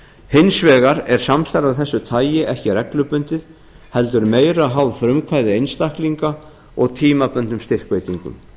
hins vegar er samstarf af þessu tagi ekki reglubundið heldur meira háð frumkvæði einstaklinga og tímabundnum styrkveitingum